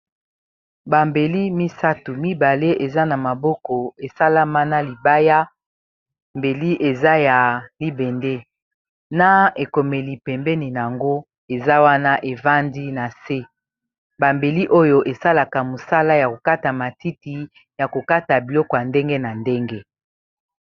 Ba mbeli misato mibale eza na maboko esalama na libaya mbeli eza ya libende na ekomeli pembeni nango eza wana evandi na se ba mbeli oyo esalaka mosala ya kokata matiti ya kokata biloko ya ndenge na ndenge.